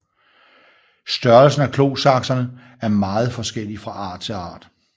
Størrelsen af klosaksene er meget forskellig fra art til art